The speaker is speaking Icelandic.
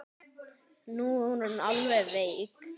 Nú er hún alveg veik.